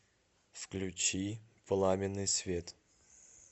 включи пламенный свет